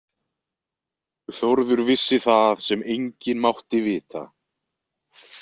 Þórður vissi það sem enginn mátti vita.